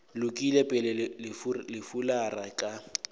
lokile pele le fulara ka